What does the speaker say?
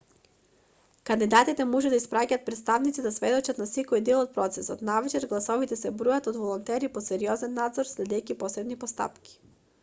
кандидатите може да испраќаат претставници да сведочат за секој дел од процесот навечер гласовите се бројат од волонтери под сериозен надзор следејќи посебни постапки